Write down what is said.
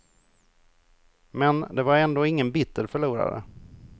Men det var ändå ingen bitter förlorare.